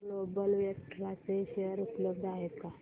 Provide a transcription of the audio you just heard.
global Vectra चे share उपलब्ध आहेत का